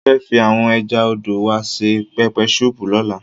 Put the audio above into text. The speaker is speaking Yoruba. Mo fẹ́ fi àwọn ẹja odò wa ṣe pẹpẹ súùpù lọ́la.